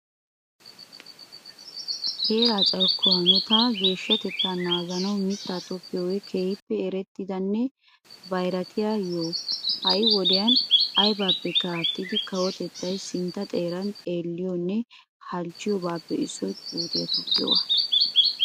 Heera carkkuwaa hanotanne geshshatetta naganawu mittaa tokkiyoge kehippe erettidane bayratiyaa yoho. Ha'i wodiyan aybipekka aattidi kawottettay sintta xeeran xelliyonne halchchiyoobappe issoy puutiya tokkiyoogaa.